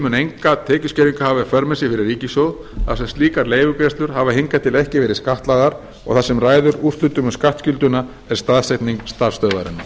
mun enga tekjuskerðingu hafa í för með sér fyrir ríkissjóð þar sem slíkar leigugreiðslur hafa hingað til ekki verið skattlagðar og það sem ræður úrslitum um skattskylduna er staðsetning starfsstöðvarinnar